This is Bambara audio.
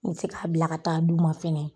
N mi se k'a bila ka taa d'u ma fɛnɛ.